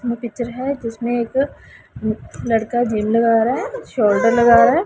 इनमें पिक्चर है जिसमें एक लड़का जिम लगा रहा है शोल्डर लगा रहा है।